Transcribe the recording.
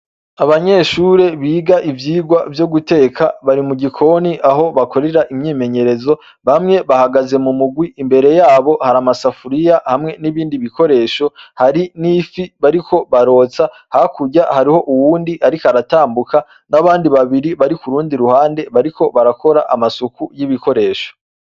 Abanyeshure biga ivyigwa vyo guteka bari mu gikoni aho bakorera imyimenyerezo; bamwe bahagaze mu murwi. Imbere yabo hari amasafuriya hamwe n'ibindi bikoresho; hari n'ifi bariko barotsa . Hakurya hariho uwundi ariko aratambuka n'abandi babiri bari ku rundi ruhande, bariko barakora amasuku y'ibikoresho.